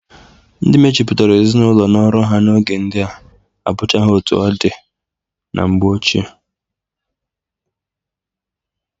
Ndị mejupụtara ezinaụlọ na ọrụ ha n'oge ndịa abụchaghị etu ọ dị na mgbe ochie.